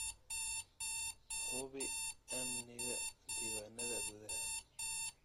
Hubi amniga diiwaannada gudaha.